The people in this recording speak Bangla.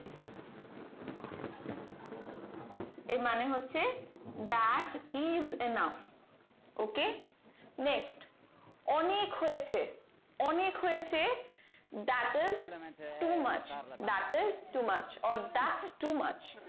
এর মানে হচ্ছে that is enough ok next অনেক হয়েছে অনেক হয়েছে that is to Mac that is to Mac or that to mach